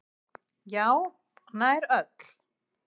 Já, nær öll.